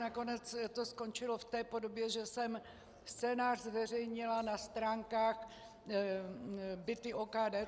Nakonec to skončilo v té podobě, že jsem scénář zveřejnila na stránkách - Byty OKD.